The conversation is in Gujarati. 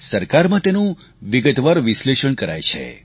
સરકારમાં તેનું વિગતવાર વિશ્લેષણ કરાય છે